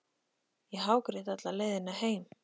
Ég hágrét alla leiðina heim.